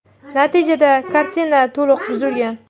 Natijada kartina to‘liq buzilgan.